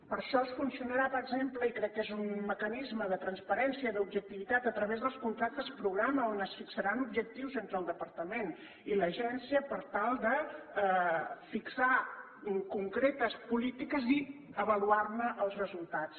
per això es funcionarà per exemple i crec que és un mecanisme de transparència i d’objectivitat a través dels contractes programa on es fixaran objectius entre el departament i l’agència per tal de fixar concretes polítiques i avaluar ne els resultats